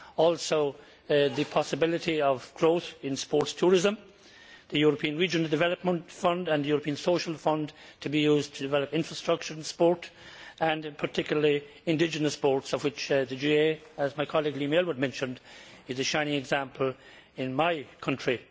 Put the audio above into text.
Also the possibility of growth in sports tourism, and the European Regional Development Fund and the European Social Fund to be used to develop infrastructure in sport, particularly in indigenous sports, of which the GAA, as my colleague Liam Aylward mentioned, is a shining example in my country.